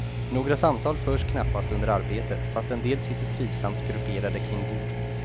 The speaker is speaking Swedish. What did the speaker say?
Några samtal förs knappast under arbetet, fast en del sitter trivsammt grupperade kring bord.